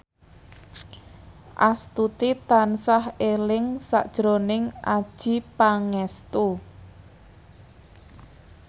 Astuti tansah eling sakjroning Adjie Pangestu